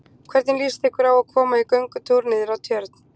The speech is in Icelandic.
Hvernig líst ykkur á að koma í göngutúr niður að Tjörn?